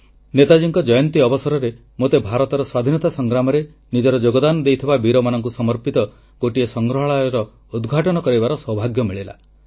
ନେତାଜୀଙ୍କ ଜୟନ୍ତୀ ଅବସରରେ ମୋତେ ଭାରତର ସ୍ୱାଧୀନତା ସଂଗ୍ରାମରେ ନିଜର ଯୋଗଦାନ ଦେଇଥିବା ବୀରମାନଙ୍କୁ ସମର୍ପିତ ଗୋଟିଏ ସଂଗ୍ରହାଳୟର ଉଦ୍ଘାଟନ କରିବାର ସୌଭାଗ୍ୟ ମିଳିଲା